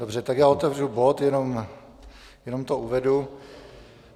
Dobře, tak já otevřu bod, jenom to uvedu.